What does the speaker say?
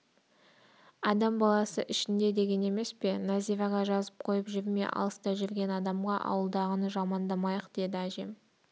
адам аласы ішінде деген емес пе нәзираға жазып қойып жүрме алыста жүрген адамға ауылдағыны жамандамайық деді әжем